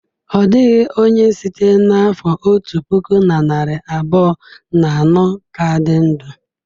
Ọ dịghị onye site n'afọ otu puku na narị abụọ na anọ ka dị ndụ.